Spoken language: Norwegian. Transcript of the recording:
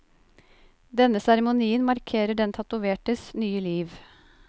Denne seremonien markerer den tatovertes nye liv.